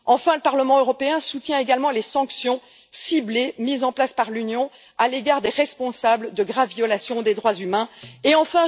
Enfin, le Parlement européen soutient également les sanctions ciblées mises en place par l'Union à l'égard des responsables de graves violations des droits de l'homme.